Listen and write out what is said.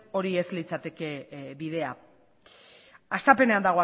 hori ez litzateke bidea hastapenean